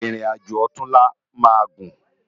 Irin ájó òtúnlá má gún